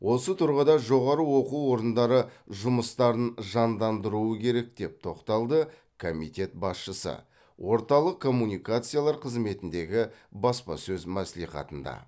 осы тұрғыда жоғары оқу орындары жұмыстарын жандандыруы керек деп тоқталды комитет басшысы орталық коммуникациялар қызметіндегі баспасөз мәслихатында